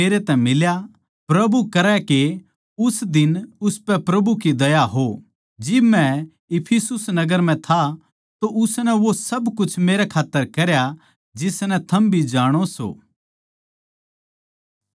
प्रभु करै के उस दिन उसपै प्रभु की दया हो जिब मै इफिसुस नगर म्ह था तो उसनै वो सब कुछ मेरे खात्तर करया जिसनै थम भी जाणो सों